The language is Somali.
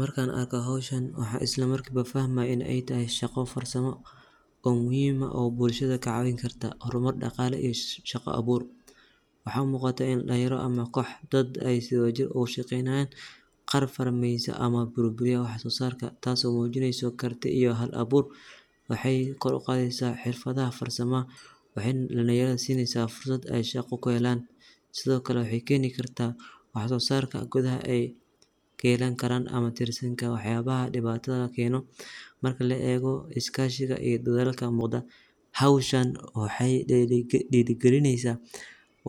Markan arko hoshan waxan islamarki boo fahmayo inay tahay shaqo farsamo oo muhim ah oo bulshada kacawini karta, hormar daqalo iyo shaqo abur, waxay umuqada dalinyaro ama kox dad sii wadajir ogashaqeynayan, qaab farsameysan ama burburiyaha wax sosarka tasi oo mujineyso karti iyo hal abur waxay koor uqadeysa farsamaha waxay nah dalinyarada sineysa fursad aay shaqo kuhelan, sidiokale waxay keni karta waxsosarka gudahaa ay kayelani karan ama tirsinka waxyabaha dibatadha keno, marki la ego iskashiga iyo dadhalka muqda, howshan waxay dirigalineysa